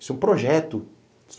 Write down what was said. Isso é um projeto.